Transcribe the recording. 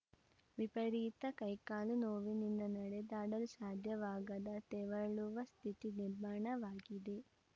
ವಿಪರೀತ ಕೈಕಾಲು ನೋವಿನಿಂದ ನಡೆದಾಡಲು ಸಾಧ್ಯವಾಗದ ತೆವಳುವ ಸ್ಥಿತಿ ನಿರ್ಮಾಣವಾಗಿದೆ